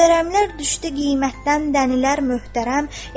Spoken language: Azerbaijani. Möhtərəmlər düşdü qiymətdən, dənillər möhtərəm.